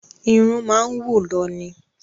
Irun máa ń wù lọ ní